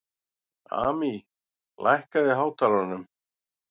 Amý, lækkaðu í hátalaranum.